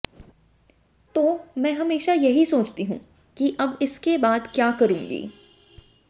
तो मैं हमेशा यही सोचती हूं कि अब इसके बाद क्या करुंगी